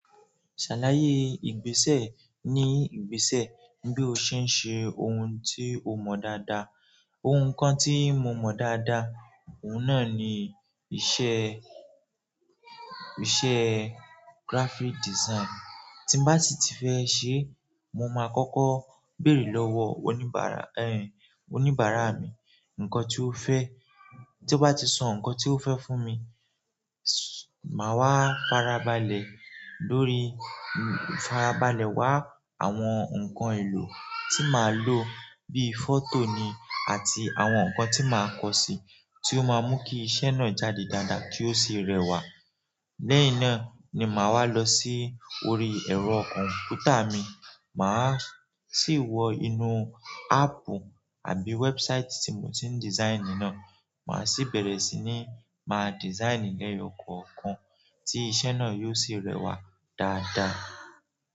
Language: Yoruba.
Ṣàlàyé ìgbésẹ̀ ní ìgbésẹ̀ bí o ṣe ń ṣe ohun tí o mọ dáadáa. Ohun kan tí mo mọ dáadáa, òun náà ni iṣẹ́, iṣẹ́ graphic design. Tí n bá ti fẹ́ ṣe, mo máa kọ́kọ́ béèrè lọ́wọ́ oníbàárà, ẹn, oníbàárà mi nǹkan tí ó fẹ́. Tí ó bá ti sọ nǹkan tí ó fẹ́ fún mi, máa wá farabalẹ̀ lórí, farabalẹ̀ wá àwọn nǹkan èlò tí màá lò bí i fọ́tò ni àti àwọn nǹkan tí màá kọ sí, tí ó máa mú kí iṣẹ́ náà jáde dáadáa kí ó sì rẹwà. Lẹ́hin náà ni màá wá lọ sí orí ẹ̀rọ kọ̀m̀pútà mi. Màá sì wọ inú áàpù àbí website tí mo ti ń design náà. Màá sì bẹ̀rẹ̀ sí ní máa design lẹ́yọ̀ kọ̀ọ̀kan tí iṣẹ́ náà yóò sì rẹwà dáadáa.